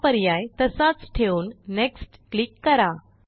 हा पर्याय तसाच ठेवून नेक्स्ट क्लिक करा